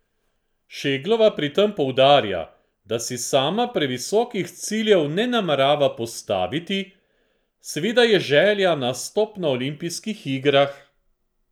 Šeglova pri tem poudarja, da si sama previsokih ciljev ne namerava postaviti: "Seveda je želja nastop na olimpijskih igrah.